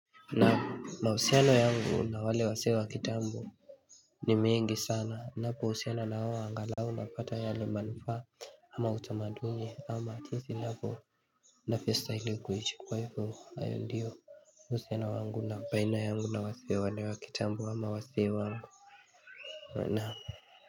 Na mausiano yangu na wale wazee wa kitambo ni mingi sana napo usiana nao angalau napata yale manufa ama utamaduni ama jinsi ninavo ninavyo stahili kuishi usiano wangu na baina yangu na wazee wale wa kitambo ama wazee wangu.